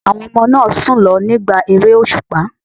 Àwọn ọmọ náà sùn lọ nígbà ère òṣùpá.